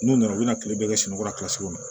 N'u nana u bɛna kile bɛɛ kɛ sunɔgɔ la